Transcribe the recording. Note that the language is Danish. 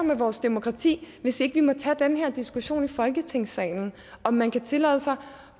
med vores demokrati hvis ikke vi må tage den her diskussion i folketingssalen om man kan tillade sig